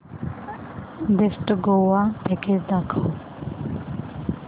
best Goa package दाखव